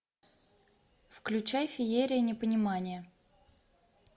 включай феерия непонимания